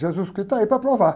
Jesus Cristo está aí para provar.